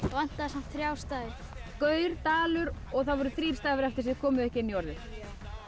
vantaði samt þrjá stafi og það voru þrír stafir eftir sem þið komuð ekki inn í orðið já